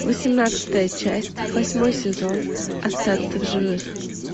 восемнадцатая часть восьмой сезон остаться в живых